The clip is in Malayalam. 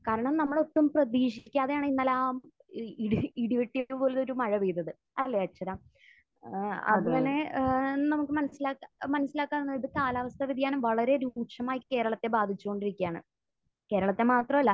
കാരണം നമ്മൾ ഒട്ടും പ്രതീക്ഷിക്കാതെയാണ് ഇന്നലെ ആ ഇടി...ഇടി വെട്ടോട് കൂടിയ മഴ പെയ്തത്. അല്ലെ, അർച്ചന? ഏഹ് അങ്ങനെ ഏഹ് നമുക്ക് മനസ്സിലാക്കാവുന്നത് കാലാവസ്ഥാവ്യതിയാനം വളരെ രൂക്ഷമായി കേരളത്തെ ബാധിച്ചുകൊണ്ടിരിക്കുകയാണ്. കേരളത്തെ മാത്രമല്ല